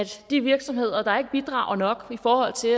de virksomheder der ikke bidrager nok i forhold til